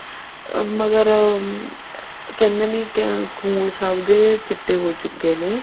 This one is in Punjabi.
ਮਗਰ ਕਹਿੰਦੇ ਨੇ ਕੀ ਖੂਨ ਸਭ ਦੇ ਚਿੱਟੇ ਹੋ ਚੁੱਕੇ ਨੇ